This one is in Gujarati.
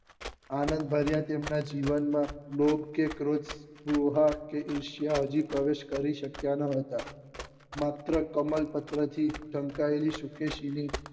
આનંદ ભર્યા તેમના જીવન માં લોધ કે ક્રોધ લુહાર કે ઈર્ષ્યા હજી પ્રવેશ કરી શક્યા ના હતા માત્ર કમળપત્ર થી ઢંકાયેલી શુકેશી ની